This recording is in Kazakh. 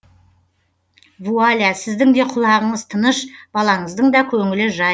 вуаля сіздің де құлағыныз тыныш баланыздың да көңілі жай